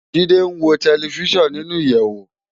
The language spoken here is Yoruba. Jide n wó tèlèfisán ninú iyèwó